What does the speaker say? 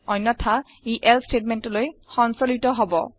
অন্যথা ই এলছে ষ্টেটমেণ্টলৈ সঞ্চলিত হব